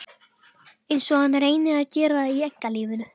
Einsog hann reyni að gera í einkalífinu.